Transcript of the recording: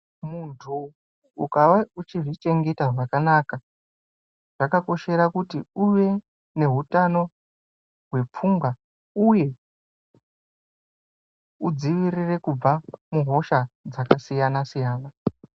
Muntu ukawa uchizvichengeta zvakanaka zvakakoshera kuti uve nehutano hwepfungwa uye udzivirire kubva kuhosha dzakasiyana siyana.